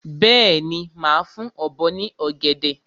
Bẹ́ẹ̀ni, màá fún ọ̀bọ ní ọ̀gẹ̀dẹ̀.